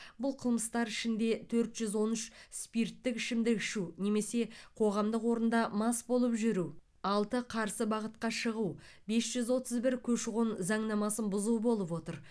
бұл қылмыстар ішінде төрт жүз он үш спирттік ішімдік ішу немесе қоғамдық орында мас болып жүру алты қарсы бағытқа шығу бес жүз отыз бір көші қон заңнамасын бұзу болып отыр